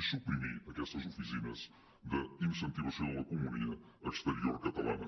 i suprimir aquestes oficines d’incentivació de l’economia exterior catalana